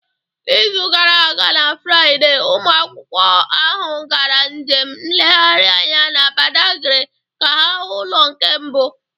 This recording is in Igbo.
N'izu gara aga na Fraịde, ụmụ akwụkwọ ahụ gara njem nlegharị anya na Badagry ka ha hụ ụlọ nke mbụ